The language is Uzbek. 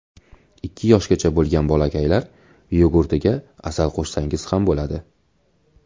Ikki yoshgacha bo‘lgan bolakaylar yogurtiga asal qo‘shsangiz ham bo‘ladi.